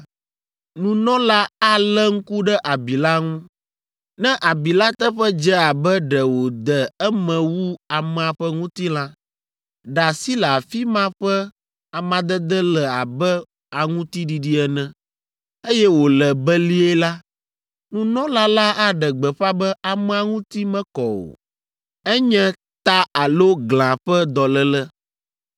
nunɔla alé ŋku ɖe abi la ŋu. Ne abi la teƒe dze abe ɖe wòde eme wu amea ƒe ŋutilã, ɖa si le afi ma ƒe amadede le abe aŋutiɖiɖi ene, eye wòle belie la, nunɔla la aɖe gbeƒã be amea ŋuti mekɔ o; enye ta alo glã ƒe dɔléle.